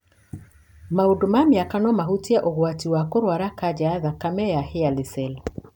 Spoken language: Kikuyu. Maũthĩ na mĩaka no mahutie ũgwati wa kũrwara kanca ya thakame ya hairy cell.